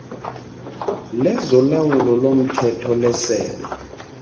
lezolawulo lomthetho lesebe